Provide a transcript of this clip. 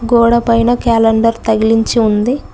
గోడ పైన క్యాలెండర్ తగిలించి ఉంది.